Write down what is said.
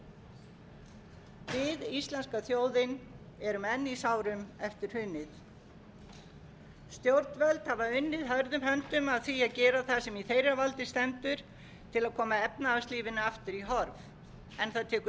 við íslenska þjóðin erum enn í sárum eftir hrunið stjórnvöld hafa unnið hörðum höndum að því að gera það sem í þeirra valdi stendur til að koma efnahagslífinu aftur í horf en það tekur